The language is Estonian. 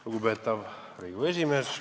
Lugupeetav Riigikogu esimees!